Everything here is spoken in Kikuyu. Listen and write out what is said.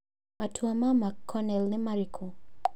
Matua ma McConnell nĩ marĩkũ?